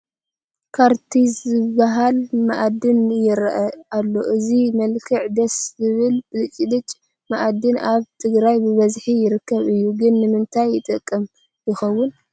ዃርቲዝ ዝበሃል መኣድን ይርአ ኣሎ፡፡ እዚ መልክዑ ደስ ዝብል ዘብለጭልጭ መኣድን ኣብ ትግራይ ብብዝሒ ይርከብ እዩ፡፡ ግን ንምንታይ ይጠቅም ይኸውን?